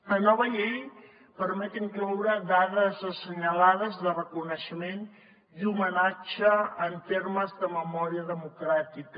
la nova llei permet incloure dates assenyalades de reconeixement i homenatge en termes de memòria democràtica